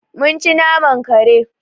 Mun ci naman kare.